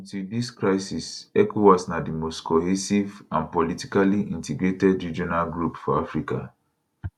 until dis crisis ecowas na di most cohesive and politically integrated regional group for africa